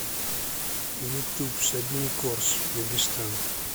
ютуб сабин корс дагестан